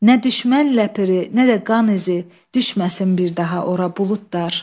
Nə düşmən ləpiri, nə də qan izi düşməsin bir daha ora buludlar.